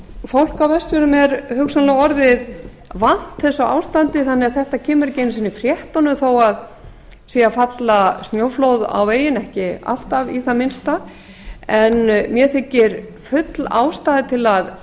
fólk á vestfjörðum er hugsanlega orðið vant þessu ástandi þannig að þetta kemur ekki einu sinni í fréttunum þó að sé að falla snjóflóð á veginn ekki alltaf hvað minnsta en mér þykir full ástæða til að